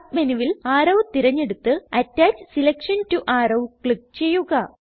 Submenuവിൽ arrow തിരഞ്ഞെടുത്ത് attach selection to arrow click ചെയ്യുക